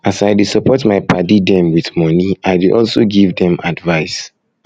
as i dey support my paddy dem wit moni i dey also give dem advice